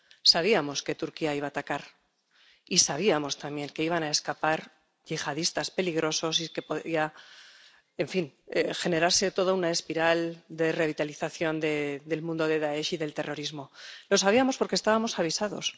Sabíamos que Turquía iba a atacar, y sabíamos también que iban a escapar yihadistas peligrosos y que podría generarse toda una espiral de revitalización del mundo de Dáesh y del terrorismo lo sabíamos porque estábamos avisados.